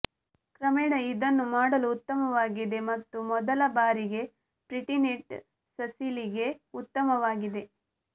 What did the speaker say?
ಕ್ರಮೇಣ ಇದನ್ನು ಮಾಡಲು ಉತ್ತಮವಾಗಿದೆ ಮತ್ತು ಮೊದಲ ಬಾರಿಗೆ ಪ್ರಿಟಿನಿಟ್ ಸಸಿಲಿಗೆ ಉತ್ತಮವಾಗಿದೆ